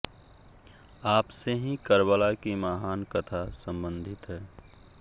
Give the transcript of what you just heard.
आपसे ही कर्बला की महान कथा सम्बन्धित है